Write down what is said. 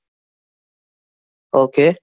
Okay